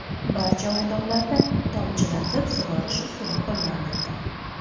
Barcha maydonlarda tomchilatib sug‘orish usuli qo‘llanildi.